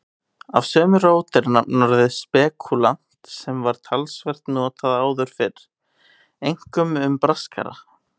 Af sömu rót er nafnorðið spekúlant sem var talsvert notað áður fyrr, einkum um braskara.